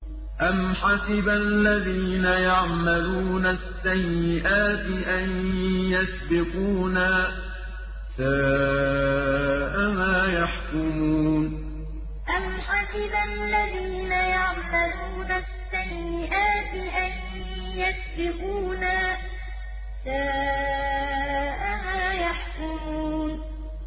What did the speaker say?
أَمْ حَسِبَ الَّذِينَ يَعْمَلُونَ السَّيِّئَاتِ أَن يَسْبِقُونَا ۚ سَاءَ مَا يَحْكُمُونَ أَمْ حَسِبَ الَّذِينَ يَعْمَلُونَ السَّيِّئَاتِ أَن يَسْبِقُونَا ۚ سَاءَ مَا يَحْكُمُونَ